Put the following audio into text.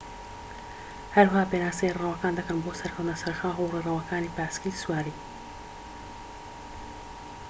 هەروەها پێناسەی ڕێڕەوەکان دەکەن بۆ سەرکەوتنە سەر شاخ و ڕێڕەوەکانی پاسکیل سواری